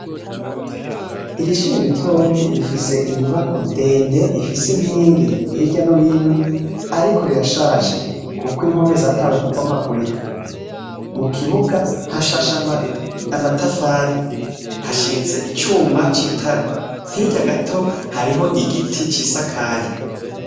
Iri shure ritonyi rifise inyubakwa ndende ifise inkingi hirya no hino ariko rirashaje kuko impome zatanguye kubomagurika. Mu kibuga hashashe amatafari, hashinze icuma c'itara. Hirya gato hariho igiti cisakaye.